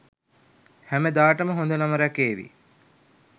හැමදාටම හොඳ නම රැකේවි.